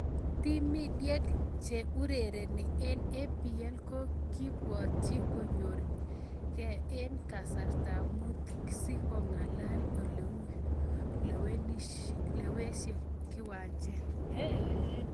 Timidiek che urereni eng EPL kokibwatchin konyor ke eng kastab mut sikongalale ole auyo lewekse kiwanjet.